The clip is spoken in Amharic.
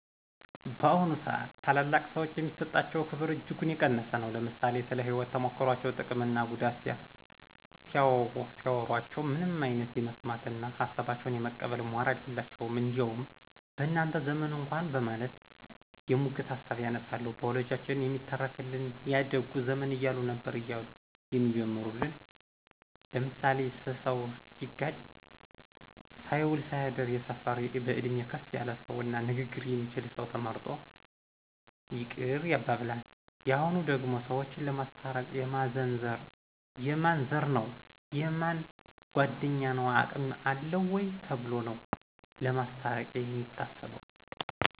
በአሁኑ ስአት ታላላቅ ሰዎች የሚሰጣቸው ክብር እጅጉን የቀነሰ ነው። ለምሳሌ ስለ ህይወት ተሞክሮቸው ጥቅም እና ጉዳት ሲያዎሮቸው ምንም አይነት የመስማት እነ ሀሳባቸውን የመቀበል ሞራል የላቸውም። እንዲያውም በእናንተ ዘመን እኳ በማለት የሙግት ሀሳብ ያነሳሉ። በወላጆቻችን የሚተረክልን ያ ደጉ ዘመን እያሉ ነበር እያሉ የሚጀምሩል ለምሳሌ ስሰው ሲጋጭ ሳይውል ሳያድር የሰፈር በእድሜ ከፍ ያለ ሰው እና ንግግር የሚችል ሰው ተመርጦ ይቅር ያባብላን። የሁኑ ደግሞ ሰዎችን ለማስታረቅ የማን ዘር ነው : የእነ ማን ጓድኞ ነው አቅም አለው ወይ ተብሎ ነው ለማስታርቅ የሚታሰበው